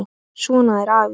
Svona er afi.